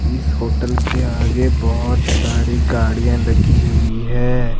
इस होटल के आगे बहुत सारी गाड़ियां लगी हुई है।